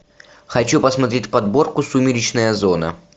хочу посмотреть подборку сумеречная зона